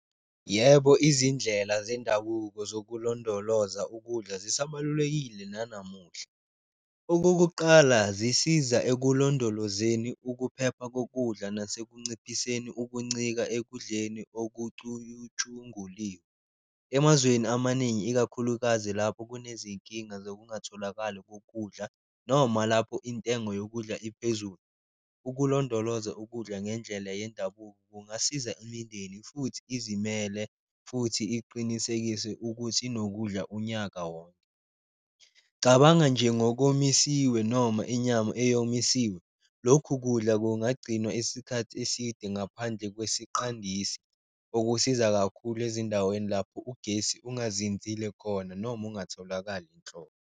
Yebo, izindlela zendabuko nokulondoloza ukudla zisabalulakile nanamuhla. Okokuqala, zisiza ekulondolozeni ukuphepha kokudla nase kunciphiseni ukuncika ekudleni okucuyutshunguliwe. Emazweni amaningi ikakhulukazi lapho kunezinkinga zokungatholakali kokudla, noma lapho intengo yokudla iphezulu ukulondoloza ukudla ngendlela yendabuko kungasiza imindeni futhi izimele, futhi iqinisekise ukuthi inokudla unyaka wonke. Cabanga nje ngokomisiwe noma inyama eyomisiwe, lokhu kudla kungagcinwa isikhathi eside ngaphandle kwesiqandisi, okusiza kakhulu ezindaweni lapho ugesi ungazinzile khona noma ungatholakali nhlobo.